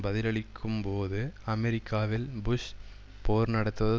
பதிலளிக்கும்போது அமெரிக்காவில் புஷ் போர் நடத்துவது